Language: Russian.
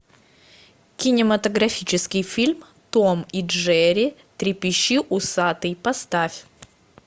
кинематографический фильм том и джерри трепещи усатый поставь